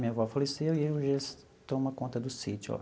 Minha avó faleceu e eu e eles toma conta do sítio lá.